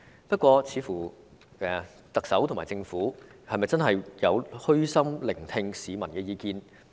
不過，特首和政府是否真的有虛心聆聽市民的意見？